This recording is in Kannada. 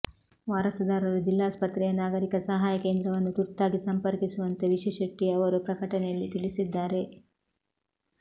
ವಾರಸುದಾರರು ಜಿಲ್ಲಾಸ್ಪತ್ರೆಯ ನಾಗರಿಕ ಸಹಾಯ ಕೇಂದ್ರವನ್ನು ತುರ್ತಾಗಿ ಸಂಪರ್ಕಿಸುವಂತೆ ವಿಶು ಶೆಟ್ಟಿ ಅವರು ಪ್ರಕಟಣೆಯಲ್ಲಿ ತಿಳಿಸಿದ್ದಾರೆ